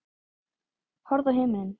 Horfðu á himininn.